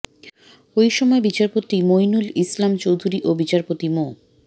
ওই সময় বিচারপতি মইনুল ইসলাম চৌধুরী ও বিচারপতি মো